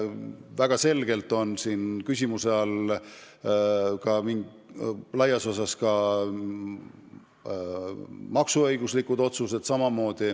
Väga selgelt on küsimuse all ka maksuõiguslikud sammud.